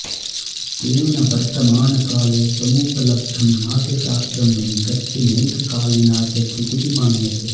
तेन वर्तमानकाले समुपलब्धं नाट्यशास्त्रं नैकस्य नैककालीना च कृतिः मन्यते